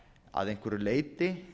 að einhverju leyti